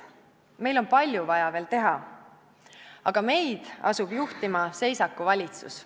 Meil on vaja veel palju teha, aga meid asub juhtima seisakuvalitsus.